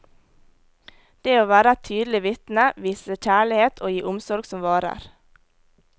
Det å være et tydelig vitne, vise kjærlighet og gi omsorg som varer.